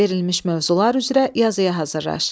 Verilmiş mövzular üzrə yazıya hazırlaş.